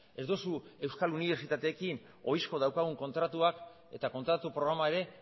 ez duzu euskal unibertsitateekin ohizko dauzkagun kontratuak eta kontratu programa ere